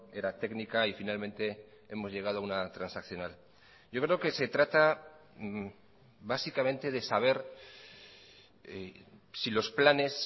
era técnica y finalmente hemos llegado a una transaccional yo creo que se trata básicamente de saber si los planes